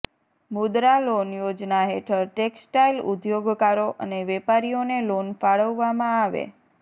મુદ્રા loan Yojana હેઠળ textile ઉદ્યોગકારો અને વેપારીઓને લોન ફાળવવામાં આવે